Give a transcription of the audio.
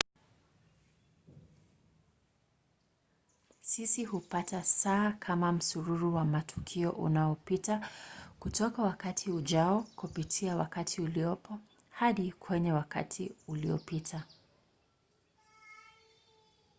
sisi hupata saa kama msururu wa matukio unaopita kutoka wakati ujao kupitia wakati uliopo hadi kwenye wakati uliopita